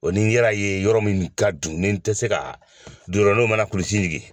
O nin yɛrɛ y'a ye yɔrɔ min ka dun, nin tɛ se ka, ninw mana kulusi ɲigin